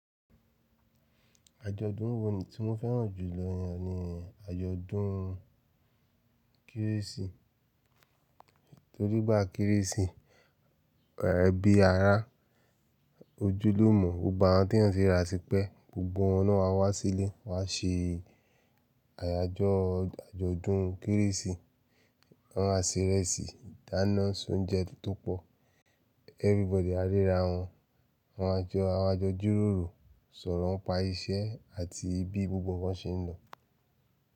Àjọ̀dún wo ni tí mo fẹ́ràn jù lọ yẹn ni àjọ̀dún kérésì. Torí gbà kérésì, ẹbí ara, ojúlùmọ̀, gbogbo àwọn tí eyan ti rirà tipẹ́, gbogbo wọn lo ma wá sílé. Wọ́n á ṣe àyájọ́ àjọ̀dún kérésì. Wọ́n á se ìrẹsì, ìdáná, se oúnjẹ tó pọ̀. Everybody á ríra wọn. Awà jọ jiròrò, sọ̀rọ̀ ńi pa iṣẹ́ àti bi gbogbo nkan n ṣe ń lọ.